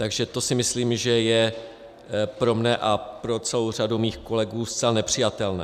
Takže to si myslím, že je pro mě a pro celou řadu mých kolegů zcela nepřijatelné.